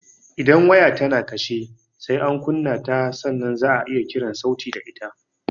Idan waya ta na kashe, sai an kunna ta sannan za'a iya kiran sauti da ita